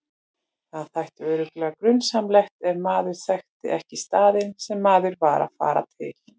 Það þætti örugglega grunsamlegt ef maður þekkti ekki staðinn sem maður var að fara til.